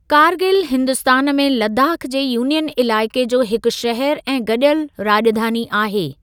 कारगिल हिन्दुस्तान में लद्दाख जे यूनियन इलाइक़े जो हिकु शहर ऐं गॾियल राॼधानी आहे।